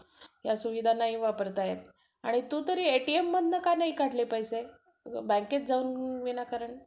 तसंच करत होतो. Sir म्हणजे homework ची वही जर विसरली का,